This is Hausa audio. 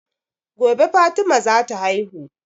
Gobe fatima za ta haihu